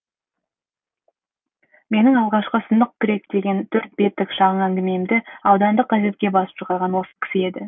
менің алғашқы сынық күрек деген төрт беттік шағын әңгімемді аудандық газетке басып шығарған осы кісі еді